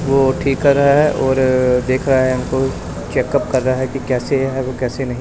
वो ठीक कर रहा है और देखा है हमको चेकअप कर रहा है कि कैसे हैं वो कैसे नहीं--